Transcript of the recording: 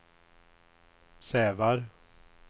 Sävar